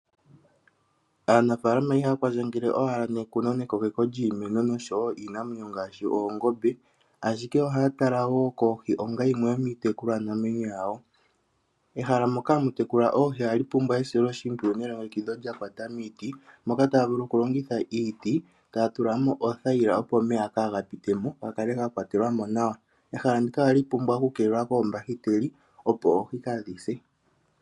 Aanafaalama ihaya kwandjangele owala nekuno lyiimeno nekokeko lyiimeno oshowoo lyiinamwenyo ngaashi oongombe, ashike ohaya tala wo koohi onga yimwe yomiitekulwanamwenyo yawo. Ehala moka hamu tekulilwa oohi ohamu pumbwa esiloshimpwiyu nelongekidho lyakwata miiti , moka taya vulu okulongitha iiti , etaya tulamo othayila opo omeya gaatikemo gakale gakwatelwamo nawa. Ehala ndika ohali pumbwa okukeelekwa koombahiteli